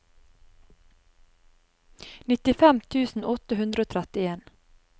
nittifem tusen åtte hundre og trettien